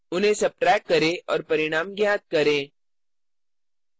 उन्हें subtract subtract करें और परिणाम ज्ञात करें